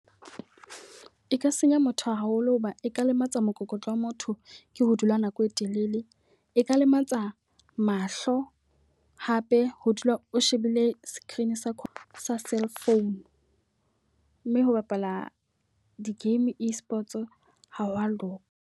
E ka senya motho haholo hoba e ka lematsa mokokotlo wa motho ke ho dula nako e telele. E ka lematsa mahlo hape ho dula o shebile screen sa cell phone. Mme ho bapala di-game e-Sports ha hwa loka.